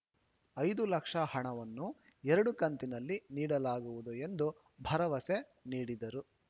ಐದು ಲಕ್ಷ ಹಣವನ್ನು ಎರಡು ಕಂತಿನಲ್ಲಿ ನೀಡಲಾಗುವುದು ಎಂದು ಭರವಸೆ ನೀಡಿದರು